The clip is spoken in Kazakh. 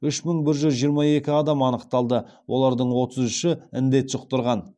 үш мың бір жүз жиырма екі адам анықталды олардың отыз үші індет жұқтырған